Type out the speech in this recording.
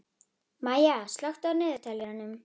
Maya, slökktu á niðurteljaranum.